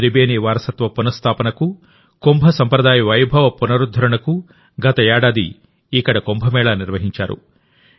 త్రిబేని వారసత్వ పునఃస్థాపనకు కుంభ సంప్రదాయ వైభవ పునరుద్ధరణకు గత ఏడాది ఇక్కడ కుంభమేళా నిర్వహించారు